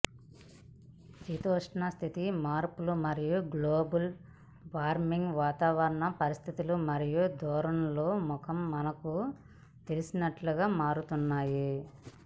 శీతోష్ణస్థితి మార్పు మరియు global warming వాతావరణ పరిస్థితులు మరియు ధోరణుల ముఖం మనకు తెలిసినట్లుగా మారుతున్నాయి